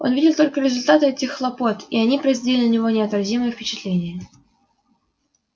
он видел только результаты этих хлопот и они производили на него неотразимое впечатление